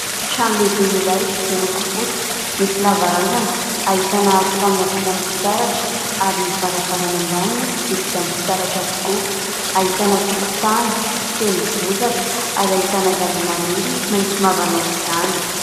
Trano lehibe iray miloko fotsy, misy lavarangana, ahitana aro fanina vita amin'ny fitaratra ary ny varavarana ambany dia vita amin'ny fitaratra avokoa. Ahitana tokontany feno bozaka ary ahitana zava-maniry maitso mavana aok'izany.